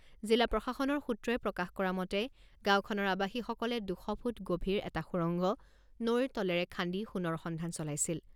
জিলা প্ৰশাসনৰ সূত্ৰই প্ৰকাশ কৰা মতে, গাঁওখনৰ আৱাসীসকলে দুশ ফুট গভীৰ এটা সুৰংগ নৈৰ তলিৰে খান্দি সোণৰ সন্ধান চলাইছিল।